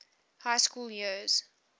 high school years